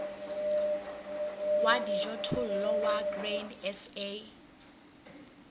wa dijothollo wa grain sa